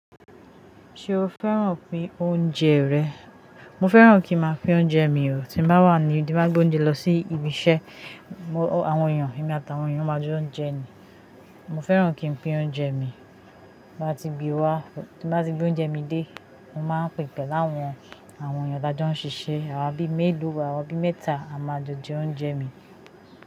Ṣé o fẹ́ràn pín oúnjẹ rẹ̀? Mo fẹ́ràn kí máa pín oúnjẹ mi o. Tí mo bá wà níbi tí n bá gbé oúnjẹ lọ sí ibi iṣẹ́, àwọn èèyàn, èmi àti àwọn èèyàn máa ń jọ jẹ ni. Mo fẹ́ràn kí n pín oúnjẹ mi. Tí n bá ti gbé wá, tí n bá ti gbé oúnjẹ mi dé, mo máa pín pẹ̀lú àwọn èèyàn tá ń jọ ṣiṣẹ́. Àwa bí mẹ́lọ̀ọ́ wá, àwa bí mẹ́ta a máa jọ̀ jẹ oúnjẹ mi.